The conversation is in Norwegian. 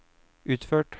utført